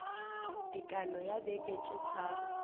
tekano ya beke tše tharo